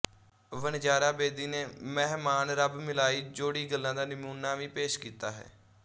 ਵਣਜਾਰਾ ਬੇਦੀ ਨੇ ਮਹਿਮਾਨ ਰੱਬ ਮਿਲਾਈ ਜੋੜ੍ਹੀ ਗੱਲਾਂ ਦਾ ਨਮੂਨਾ ਵੀ ਪੇਸ਼ ਕੀਤਾ ਹੈ